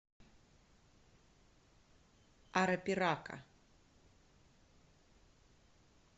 арапирака